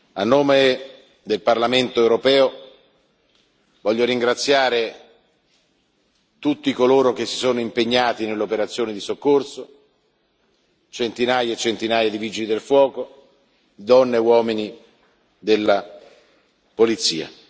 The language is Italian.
A nome del Parlamento europeo, voglio ringraziare tutti coloro che si sono impegnati nelle operazioni di soccorso, centinaia e centinaia di vigili del fuoco, donne e uomini della polizia.